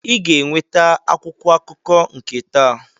Ị ga-eweta akwụkwọ akụkọ nke taa!